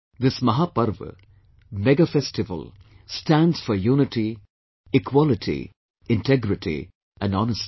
This Mahaparva, megafestival stands for unity, equality, integrity and honesty